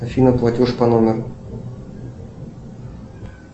афина платеж по номеру